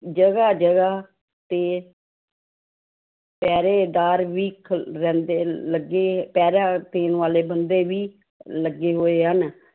ਜਗਾ ਜਗਾ ਤੇ ਪਹਿਰੇਦਾਰ ਵੀ ਖ ਰਹਿੰਦੇ ਲੱਗੇ ਪਹਿਰਾ ਦੇਣ ਵਾਲੇ ਬੰਦੇ ਵੀ ਲੱਗੇ ਹੋਏ ਹਨ।